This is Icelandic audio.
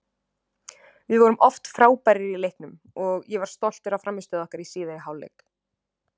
Við vorum oft frábærir í leiknum, ég var stoltur af frammistöðu okkar í síðari hálfleik.